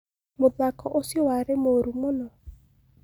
Muthako ũcio warĩ mũru mũno